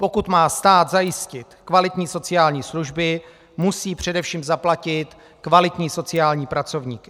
Pokud má stát zajistit kvalitní sociální služby, musí především zaplatit kvalitní sociální pracovníky.